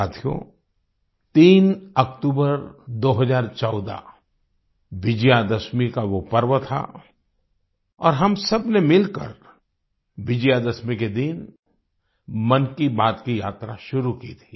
साथियो 3 अक्टूबर 2014 विजय दशमी का वो पर्व था और हम सबने मिलकर विजय दशमी के दिन मन की बात की यात्रा शुरू की थी